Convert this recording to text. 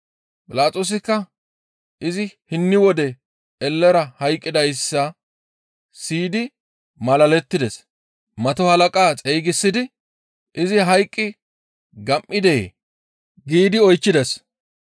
Philaxoosikka izi hinni wode ellera hayqqidayssa siyidi malalettides. Mato halaqa xeygisidi, «Izi hayqqi gam7idee?» giidi oychchides.